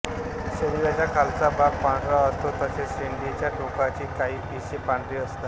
शरीराचा खालचा भाग पांढरा असतो तसेच शेंडीच्या टोकाची काही पिसे पांढरी असतात